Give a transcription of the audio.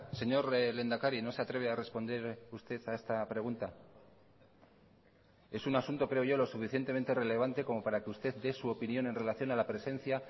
señor lehendakari no se atreve a responder usted a esta pregunta es un asunto creo yo lo suficientemente relevante como para que usted dé su opinión en relación a la presencia